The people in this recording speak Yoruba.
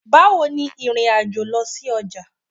Bawo ni ìrìn-àjò lọ sí ọjà